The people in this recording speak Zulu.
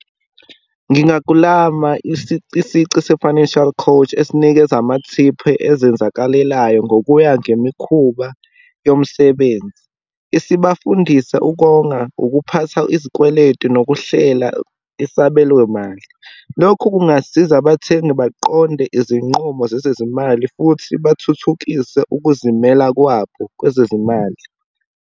Ngingaklama isici se-financial coach, esinikeza amathiphu ezenzakalelayo ngokuya ngemikhuba yomsebenzi, esibafundisa ukonga, ukuphatha izikweletu, nokuhlela isabelomali. Lokhu kungasiza abathengi baqonde izinqumo zezezimali futhi bathuthukise ukuzimela kwabo kwezezimali.